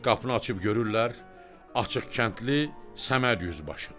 Qapını açıb görürlər, açıq kəndli Səməd yüzbaşdı.